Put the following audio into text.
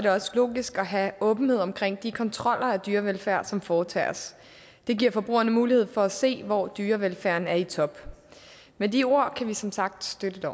det også logisk at have åbenhed omkring de kontroller af dyrevelfærd som foretages det giver forbrugerne mulighed for at se hvor dyrevelfærden er i top med de ord kan vi som sagt støtte